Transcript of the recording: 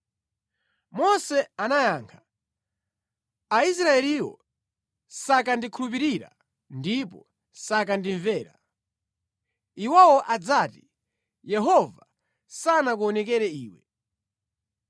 Mose anayankha, “Aisraeliwo sakandikhulupirira ndipo sakandimvera. Iwowo adzati, ‘Yehova sanakuonekere iwe.’ ”